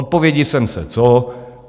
Odpovědi jsem se co?